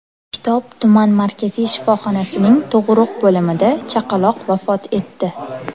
Kitob tuman markaziy shifoxonasining tug‘uruq bo‘limida chaqaloq vafot etdi.